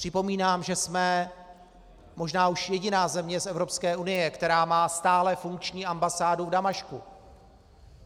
Připomínám, že jsme možná už jediná země z Evropské unie, která má stále funkční ambasádu v Damašku.